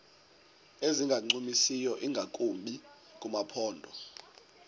ezingancumisiyo ingakumbi kumaphondo